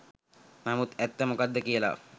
නමුත් ඇත්ත මොකද්ද කියලා